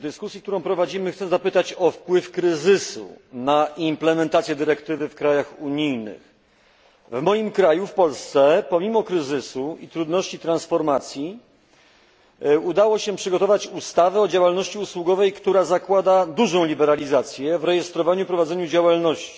W dyskusji, która prowadzimy, chcę zapytać o wpływ kryzysu na implementację dyrektywy w krajach unijnych. W moim kraju, w Polsce, pomimo kryzysu i trudności transformacyjnych udało się przygotować ustawę o działalności usługowej, która zakłada dużą liberalizację w rejestrowaniu i prowadzeniu działalności.